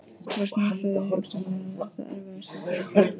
Var snjóflóðið hugsanlega það erfiðasta á þínu ferli?